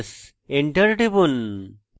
enter টিপুন